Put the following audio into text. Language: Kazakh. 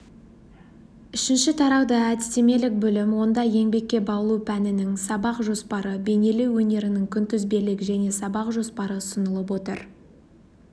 үшінші тарауда әдістемелік бөлім онда еңбекке баулу пәнінің сабақ жоспары бейнелеу өнерінің күнтізбелік және сабақ жоспары ұсынылып отыр